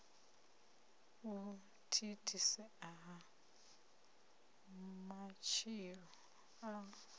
u thithisea ha matshilo a